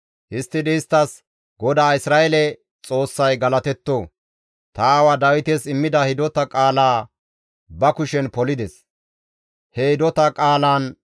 Histtidi isttas, «GODAA Isra7eele Xoossay galatetto! Ta aawa Dawites immida hidota qaalaa ba kushen polides; he hidota qaalaan,